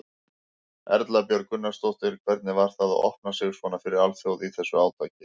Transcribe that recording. Erla Björg Gunnarsdóttir: Hvernig var það að opna sig svona fyrir alþjóð í þessu átaki?